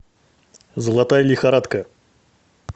золотая лихорадка